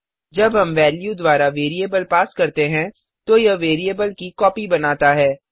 जब हम वेल्यू द्वारा वेरिएबल पास करते हैं तो यह वेरिएबल की कॉपी बनाता है